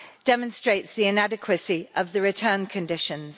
demonstrates the inadequacy of the return conditions.